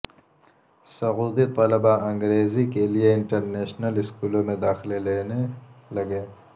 سعودی طلباءانگریزی کیلئے انٹرنیشنل اسکولوں میں داخلے لینے لگے